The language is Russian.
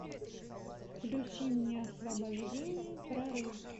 включи мне освобождение прорыв